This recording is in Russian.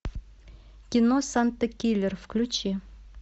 кино санта киллер включи